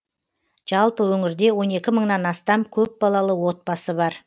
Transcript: жалпы өңірде он екі мыңнан астам көпбалалы отбасы бар